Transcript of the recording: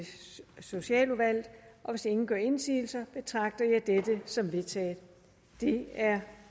socialudvalget hvis ingen gør indsigelse betragter jeg dette som vedtaget det er